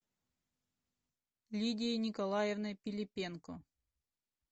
лидией николаевной пилипенко